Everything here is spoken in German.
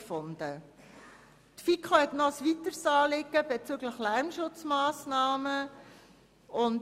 Die FiKo hat ein weiteres Anliegen bezüglich Lärmschutzmassnahmen gehabt.